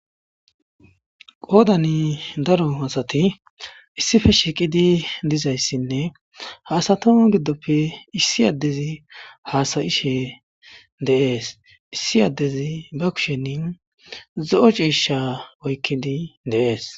qoodani daro asati issife shiiqidi dizayssinne haasato giddoppe issi addezi haasayishe deees issi addezi ba kushenin zo7o ciisha oykkidi deees